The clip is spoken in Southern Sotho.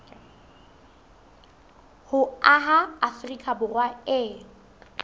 ho aha afrika borwa e